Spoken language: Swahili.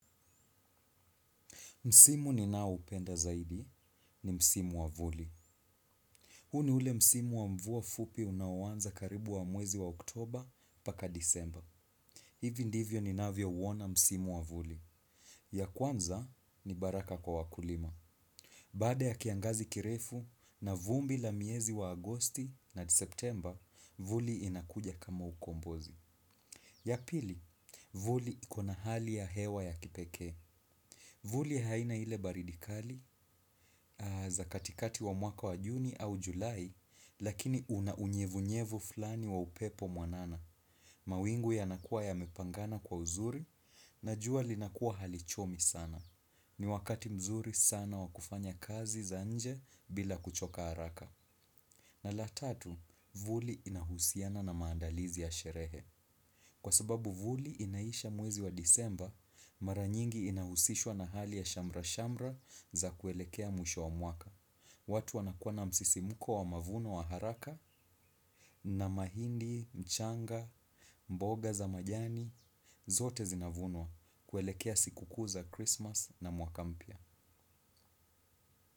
Msimu ninao upenda zaidi ni msimu wa vuli. Huu ni ule msimu wa mvua fupi unaoanza karibu wa mwezi wa oktober mpaka disemba. Hivi ndivyo ni navyo uona msimu wa vuli. Ya kwanza ni baraka kwa wakulima. Baada ya kiangazi kirefu na vumbi la miezi wa agosti na septemba, vuli inakuja kama ukombozi. Ya pili, vuli iko na hali ya hewa ya kipekee. Vuli haina ile baridi kali za katikati wa mwaka wa juni au julai lakini una unyevunyevu fulani wa upepo mwanana. Mawingu yanakua yamepangana kwa uzuri na jua linakuwa hali chomi sana. Ni wakati mzuri sana wa kufanya kazi za nje bila kuchoka haraka. Na la tatu, vuli inahusiana na maandalizi ya sherehe. Kwa sababu vuli inaisha mwezi wa disemba, mara nyingi inahusishwa na hali ya shamra-shamra za kuelekea mwisho wa mwaka. Watu wana kuwa na msisimko wa mavuno wa haraka na mahindi, mchanga, mboga za majani, zote zinavunwa kuelekea siku kuu za Christmas na mwaka mpya.